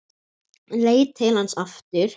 Leit til hans aftur.